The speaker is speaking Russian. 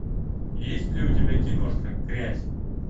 есть ли у тебя киношка грязь